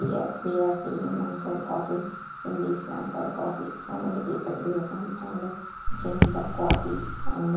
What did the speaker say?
Here we are seeing mansar coffee in this mansar coffee so many people will come and drink the coffee and --